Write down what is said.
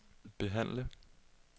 behandle